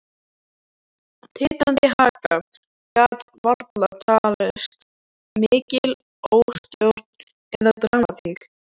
Titrandi haka gat varla talist mikil óstjórn eða dramatík.